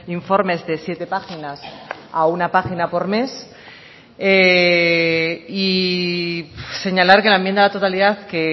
informes de siete páginas a una página por mes y señalar que la enmienda a la totalidad que